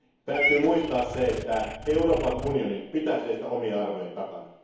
Täytyy muistaa, että Euroopan unionin pitää seistä omien arvojensa takana.